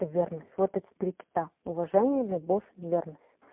это верность вот эти три кита уважение любовь верность